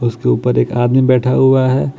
उसके ऊपर एक आदमी बैठा हुआ है।